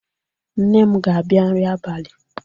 Nne m ga-abia nri abalị.